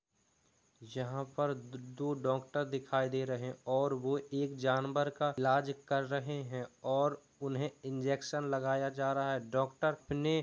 यहाँ पर द- दो डॉक्टर दिखाई दे रहे हैं और वो एक जानवर का इलाज कर रहे हैं और उन्हें इंजेक्शन लगाया जा रहा है डॉक्टर ने --